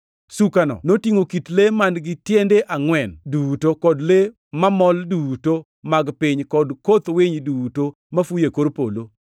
Sukano notingʼo kit le man-gi tiende angʼwen duto, kod le mamol duto mag piny kod koth winy duto mafuyo e kor polo.